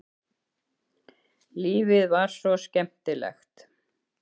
Lífið var svo skemmtilegt.